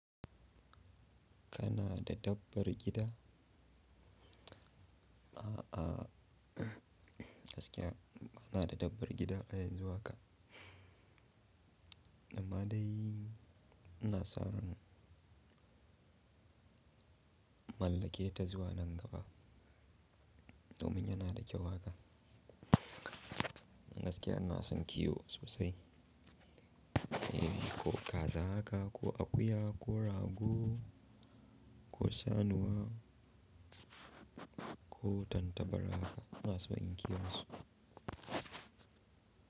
Kana da dabbar gida? A'a, gaskiya bani da dabbar gida a yanzu haka. Amma dai ina sa ran mallake ta zuwa nan gaba domin yana da kyau haka. Gaskiya ina son kiwo sosai. Eh, ko kaza haka, ko akuya, ko rago, ko saniya, ko tantabara haka ina so inyi kiwonsu.